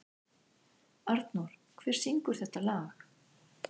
Arnór, hver syngur þetta lag?